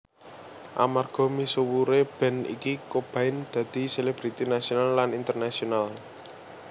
Amarga misuwure band iki Cobain dadi selebriti nasional lan internasional